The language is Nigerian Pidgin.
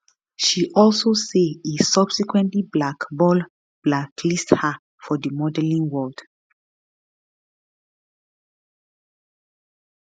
she also say e subsequently blackball blacklist her for di modelling world